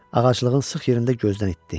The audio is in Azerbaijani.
Ağaclığın sıx yerində gözdən itdi.